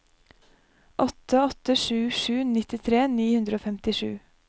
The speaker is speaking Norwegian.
åtte åtte sju sju nittitre ni hundre og femtisju